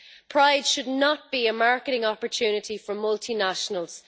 Pride should not be a marketing opportunity for multinationals.